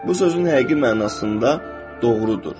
Bu sözün həqiqi mənasında doğrudur.